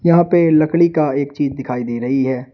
यहां पे लकड़ी का एक चीज दिखाई दे रही है।